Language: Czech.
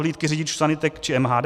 Hlídky řidičů sanitek či MHD?